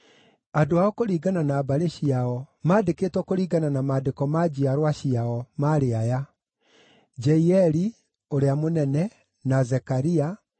Andũ ao kũringana na mbarĩ ciao, mandĩkĩtwo kũringana na maandĩko ma njiarwa ciao maarĩ aya: Jeieli ũrĩa mũnene, na Zekaria,